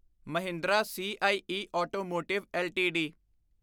Mahindra CIE automotive LTD